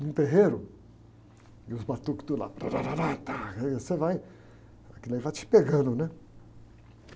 num terreiro, e os batuques do lado, tá rá rá rá tá, e aí você vai, aquilo aí vai te pegando, né?